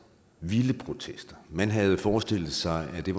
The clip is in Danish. vilde protester man havde forestillet sig at det